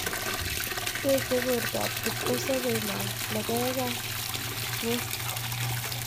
Techei bortab kipkosobei logoek ak ngwek